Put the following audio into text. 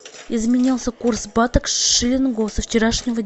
изменился курс бата к шиллингу со вчерашнего